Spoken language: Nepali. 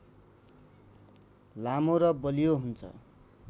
लामो र बलियो हुन्छ